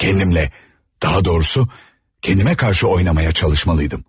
Kendimlə, daha doğrusu, kendime qarşı oynamaya çalışmalıydım.